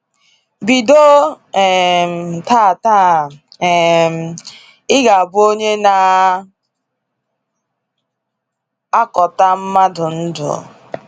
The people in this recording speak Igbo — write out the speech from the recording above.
Bido um tata, um ịga abụ onye na akọta mmadụ ndụ.